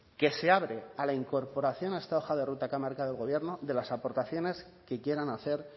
que se abre a la incorporación a esta hoja de ruta que ha marcado el gobierno de las aportaciones que quieran hacer